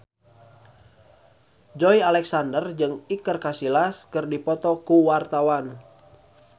Joey Alexander jeung Iker Casillas keur dipoto ku wartawan